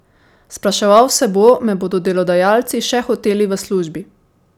Spraševal se bo, me bodo delodajalci še hoteli v službi?